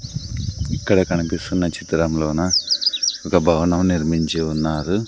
ఇక్కడ కనిపిస్తున్న చిత్రంలోన ఒక భవనం నిర్మించి ఉన్నారు.